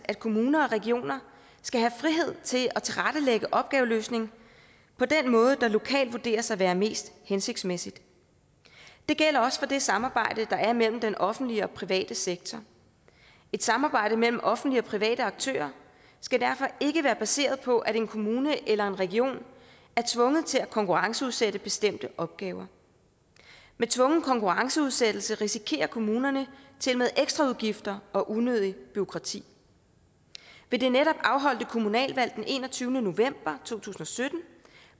at kommuner og regioner skal have frihed til at tilrettelægge opgaveløsningen på den måde der lokalt vurderes at være mest hensigtsmæssig det gælder også for det samarbejde der er mellem den offentlige og private sektor et samarbejde mellem offentlige og private aktører skal derfor ikke være baseret på at en kommune eller en region er tvunget til at konkurrenceudsætte bestemte opgaver med tvungen konkurrenceudsættelse risikerer kommunerne ekstra udgifter og unødigt bureaukrati ved det netop afholdte kommunalvalg den enogtyvende november to tusind og sytten